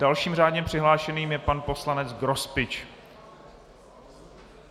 Dalším řádně přihlášeným je pan poslanec Grospič.